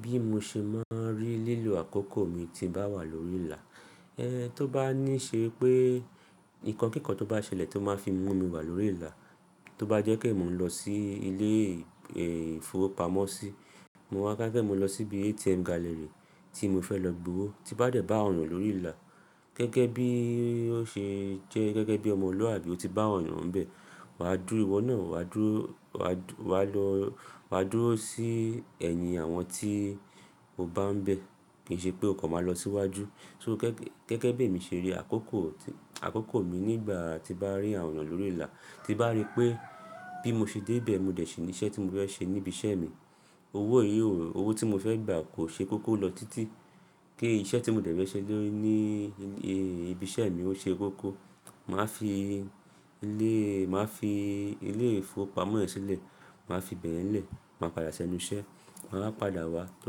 Bí mo ṣe máa ń rí lílo àkókò mi tí bá wà lórí ìlà, ẹ to bá ní ṣe pé nǹkan kíkan tó bá ṣẹlẹ̀ tó máa fi mú mi wà lórí ìlà, tó bá jẹ́ pé mò ń lọ sí ilé, ẹ́, ìfowópamọ́ sí, mo wá ká fẹ́ mo lọ sí ibi ATM gallery tí mo fẹ́ lọ gbowó tí bá dẹ̀ bá ọ̀nà lórí ìlà. Gẹ́gẹ́ bí ó ṣe jẹ́ gẹ́gẹ́ bí ọmọlúwàbí ó ti bá ọ̀nà ń bẹ̀, wà á dúró iwọ náà, wà á dúró, wà á lọ, wà á dúró sí ẹ̀yin àwọn tí o bá ń bẹ̀. Kì í ṣe pé ọ̀kan máa lọ síwájú. So gẹ́gẹ́ bí èmi ṣe rí àkókò, àkókò mi nígbà tí bá rí àwọn lórí ìlà, tí bá rí pé bí mo ṣe dé ibẹ̀, mo dẹ̀ ṣe iṣẹ́ tí mo fẹ́ ṣe ní ibi iṣẹ́ mi. Owó yìí, owó tí mo fẹ́ gba kò ṣe kókó lọ títí. Kí iṣẹ́ tí mo dẹ̀ fẹ́ ṣe ní, ní, ẹ́, ibi iṣẹ́ mi ó ṣe kókó. Mà á fi ilé, mà á fi ilé ìfowópamọ́ yẹn sílẹ̀, mà á fi bẹ̀ yẹn lẹ̀, mà á padà ṣẹ́nu iṣẹ́, mà á padà wá tó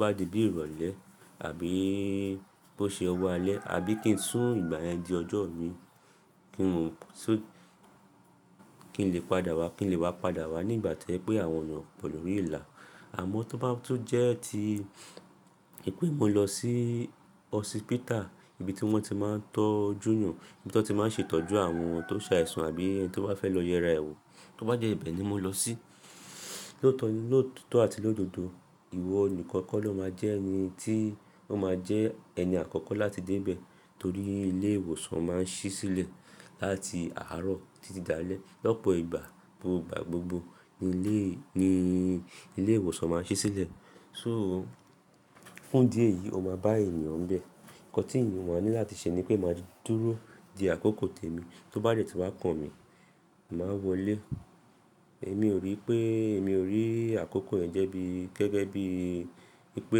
bá di bí ìrọ̀lẹ́ àbí bó ṣe ọwọ́ alẹ́ àbí kí n sún ìgbà yẹn di ọjọ́ mi kí n lè padà wá, kí n lè wá padà wá ní ìgbà tí ẹ pé àwọn eyan o pọ̀ lórí ìlà. Àmọ́ tó bá, tó jẹ́ ti pé mo lọ sí hospital, ibi tí wọ́n ti máa ń tọ́jú yan, ibi tí wọ́n ti máa ń ṣètọ́jú àwọn tó ṣa ẹ̀sùn àbí ẹni tó bá fẹ́ lọ yẹra e wo Tó bá jẹ́ ibẹ̀ ni mo lọ sí. Lóòótọ́ àti lọ́dodo, ìwọ nìkan kọ́ ló máa jẹ́ ẹni tí, ó máa jẹ́ ẹni àkọ́kọ́ láti dé ibẹ̀. Torí ilé ìwòsàn máa ń ṣí sílẹ̀ láti àárọ̀ títí dá alẹ́. Lọ́pọ̀ ìgbà gbogbo gbà gbogbo ni ilé, ilé ìwòsàn máa ń ṣí sílẹ̀. So fún díẹ̀ yìí o máa bá ènìyàn nbe Ǹkan tí èèyàn máa ní láti ṣe ni pé máa dúró di àkókò tèmi. Tó bá dẹ̀ tí wá kan mi, mà á wọlé. Èmi ò rí pé, èmi ò rí àkókò yẹn jẹ́ bí gẹ́gẹ́ bí i pé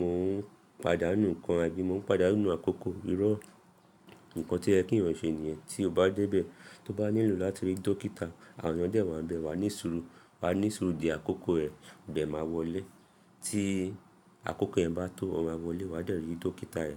mò ń pàdánù ǹkan àbí mò ń pàdánù àkókò. Irọ́, ǹkan tí ẹ kí ẹ̀yàn ṣe nìyẹn. Tí o bá dé ibẹ̀, tó bá nílò láti rí dókítà, àwọn de wa ń bẹ̀ wá ní suru wà á ní suru di àkókò ẹ, de máa wọlé. Tí àkókò yẹn bá tó, o máa wọlé wá dẹ̀ rí dókítà ẹ.